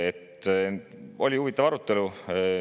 Oli huvitav arutelu.